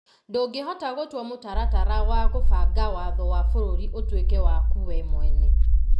Ndũngĩhota gũtua mũtaratara wa kũbanga watho wa bũrũri ũtuĩke waku we mwene.